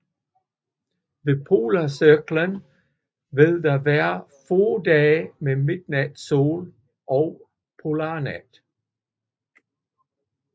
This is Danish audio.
Ved polarcirklen vil der være få dage med midnatssol og polarnat